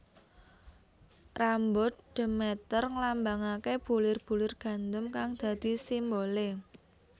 Rambut Demeter nglambangake bulir bulir gandum kang dadi simbole